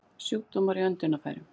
Sjúkdómar í öndunarfærum